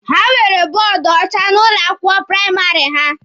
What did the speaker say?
Ha nwere bọọdụ ọcha n'ụlọ akwụkwọ praịmarị ha.